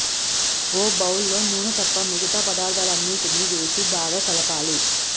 ఓ bowl లో నూనె తప్ప మిగతా పదార్థాలన్నిటికీ వేసి బాగా కలపాలి